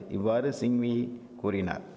இவ்வாறு சிங்வி கூறினார்